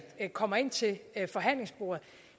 kommer ind til forhandlingsbordet